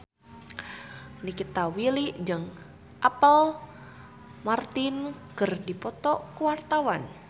Nikita Willy jeung Apple Martin keur dipoto ku wartawan